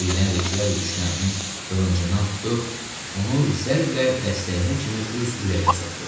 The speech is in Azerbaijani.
Birdən Reçiyari düşməninin qılıncından tutub onu zərblə dəstəyinə kimi öz ürəyinə soxdu.